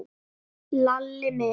Lalli minn?